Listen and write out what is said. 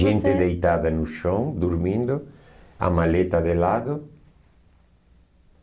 Você... Gente deitada no chão, dormindo, a maleta de lado.